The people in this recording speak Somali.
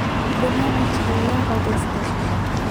Barnaamijkee ayaad codsatay?